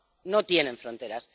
no tienen fronteras.